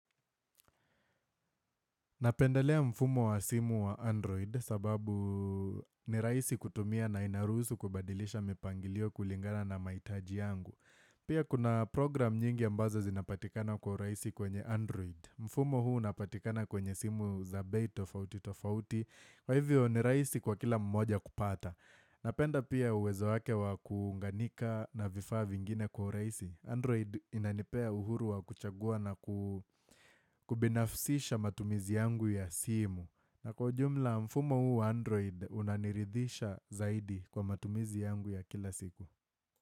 Napendelea mfumo wa simu wa Android sababu ni rahisi kutumia na inarusu kubadilisha mipangilio kulingana na mahitaji yangu. Pia kuna program nyingi ambazo zinapatikana kwa urahisi kwenye Android. Mfumo huu unapatikana kwenye simu za bei tofauti tofauti Kwa hivyo ni rahisi kwa kila mmoja kupata. Napenda pia uwezo wake wa kuunganika na vifaa vingine kwa urahisi. Android inanipea uhuru wa kuchagua na kubinafsisha matumizi yangu ya simu na kwa ujumla mfumo huu Android unaniridhisha zaidi kwa matumizi yangu ya kila siku.